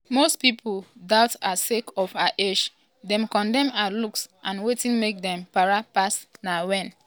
most pipo doubt her sake of her age dem condemn her looks and wetin make dem para pass na wen